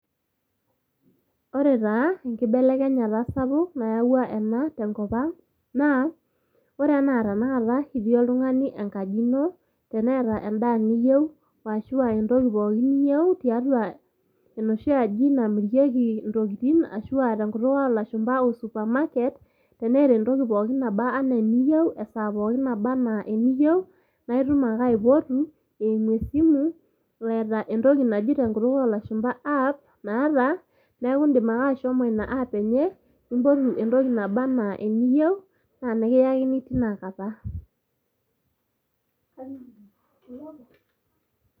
Ore taa enkibelekenyata sapuk nayaua ena tenkopang' , naa ore anaa la tenakata itii oltungani enkaji ino teneeta endaa niyou aashu entoki pooki niyou tiatua enoshi aji namirieki intokitin ashu [aa] tenkutuk olashumpa o supamaket teneeta entoki pooki nabaa anaa eniyeu esaa pooki nabaa anaa eniyou naaitum ake aipotu eimu esimu eeta entoki naji tenkutuk olashumpa  aap naata, neaku indim ake ashomo ina app enye nimpotu entoki nabaa anaa eniyou naa nikiakini tinakata.